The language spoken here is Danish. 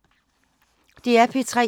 DR P3